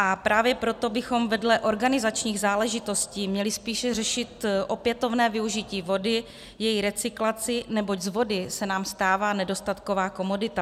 A právě proto bychom vedle organizačních záležitostí měli spíše řešit opětovné využití vody, její recyklaci, neboť z vody se nám stává nedostatková komodita.